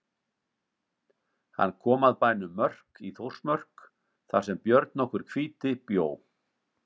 Hann kom að bænum Mörk í Þórsmörk þar sem Björn nokkur hvíti bjó.